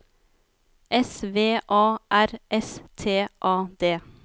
S V A R S T A D